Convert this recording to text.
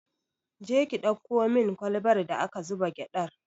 Je ki ɗauko min kwalbar da aka zuba gyaɗar!